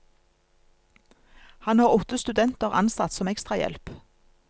Han har åtte studenter ansatt som ekstrahjelp.